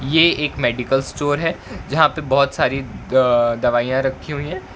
ये एक medical store है जहां पे बहोत सारी अ दवाइयां रखी हुई हैं।